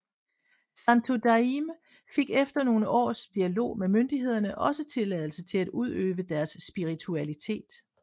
Santo Daime fik efter nogle års dialog med myndighederne også tilladelse til at udøve deres spiritualitet